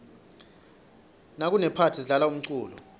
nakunephathi sidlala umculo